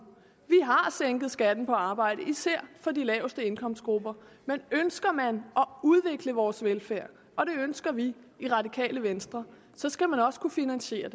vi har har sænket skatten på arbejde især for de laveste indkomstgrupper men ønsker man at udvikle vores velfærd og det ønsker vi i radikale venstre skal man også kunne finansiere